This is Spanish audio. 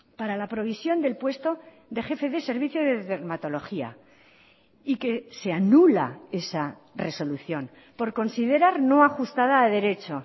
para la provisión del puesto de jefe de servicio de dermatología y que se anula esa resolución por considerar no ajustada a derecho